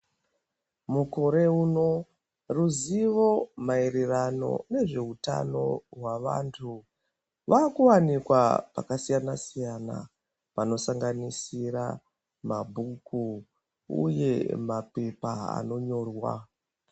Mukore uno ruzivo maererano nezveutano hwavantu rwakuwanikwa pakasiyana siyana panosanganisira mabhuku uye mapepa anonyorwa.